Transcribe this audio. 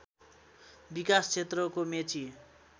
विकास क्षेत्रको मेची